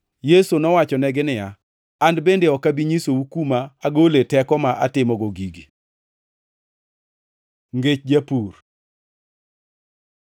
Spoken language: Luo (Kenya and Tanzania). Yesu nowachonegi niya, “An bende ok abi nyisou kuma agole teko ma atimogo gigi.” Ngech jopur